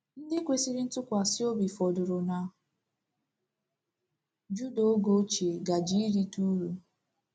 Ndị kwesịrị ntụkwasị obi fọdụrụ na Juda oge ochie gaje irite uru.